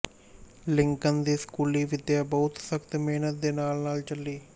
Lincoln ਦੀ ਸਕੂਲੀ ਵਿੱਦਿਆ ਬਹੁਤ ਸਖਤ ਮਿਹਨਤ ਦੇ ਨਾਲ ਨਾਲ ਚੱਲੀ